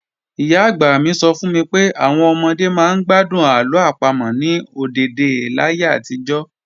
Ìyá-àgbà mi sọ fún mi pé àwọn ọmọdé máa ń gbádùn àlọ́ àpamọ̀ ní ọ̀dèdè láyé àtijọ́